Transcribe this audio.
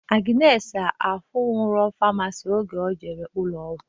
Agnes ahụnwuro famasisti oge o jere ụlọ ọgwụ